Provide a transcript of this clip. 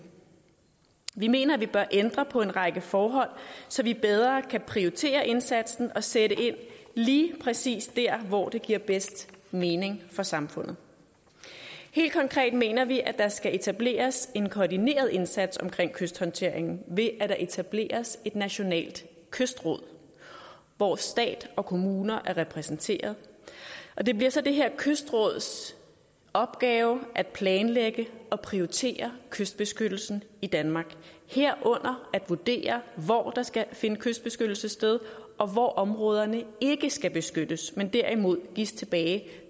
vi mener at vi bør ændre på en række forhold så vi bedre kan prioritere indsatsen og sætte ind lige præcis dér hvor det giver bedst mening for samfundet helt konkret mener vi at der skal etableres en koordineret indsats omkring kysthåndteringen ved at der etableres et nationalt kystråd hvor stat og kommuner er repræsenteret og det bliver så det her kystråds opgave at planlægge og prioritere kystbeskyttelsen i danmark herunder at vurdere hvor der skal finde kystbeskyttelse sted og hvor områderne ikke skal beskyttes men derimod gives tilbage